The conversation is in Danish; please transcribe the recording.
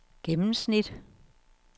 gennemsnit